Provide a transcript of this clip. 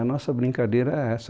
A nossa brincadeira era essa.